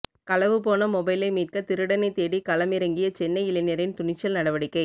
களவு போன மொபைலை மீட்க திருடனைத் தேடி களம்மிறங்கிய சென்னை இளைஞரின் துணிச்சல் நடவடிக்கை